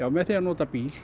með því að nota bíl